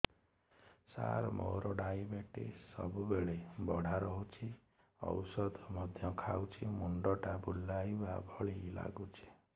ସାର ମୋର ଡାଏବେଟିସ ସବୁବେଳ ବଢ଼ା ରହୁଛି ଔଷଧ ମଧ୍ୟ ଖାଉଛି ମୁଣ୍ଡ ଟା ବୁଲାଇବା ଭଳି ଲାଗୁଛି